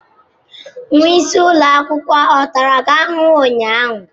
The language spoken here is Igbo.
Nwa isi ụlọ akwụkwọ ọ tara gị ahụhụ ụnyaahụ?